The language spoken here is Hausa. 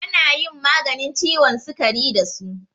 Ana yin maganin ciwon sukari da su.